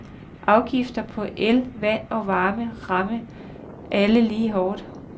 Afgifter på el, vand og varme ramme alle lige hårdt.